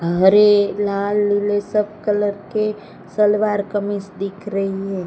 हरे लाल नीले सब कलर के सलवार कमीज़ दिख रही है।